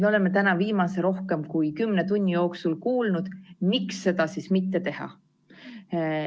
Me oleme täna viimase rohkem kui 10 tunni jooksul kuulnud, miks seda mitte teha.